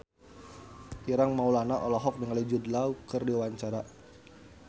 Ireng Maulana olohok ningali Jude Law keur diwawancara